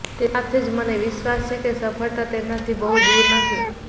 તે સાથે જ મને વિશ્વાસ છે કે સફળતા તેમનાથી બહુ દૂર નથી